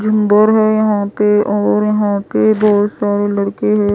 है यहाँ पे और यहाँ पे बहुत सारे लड़के हैं।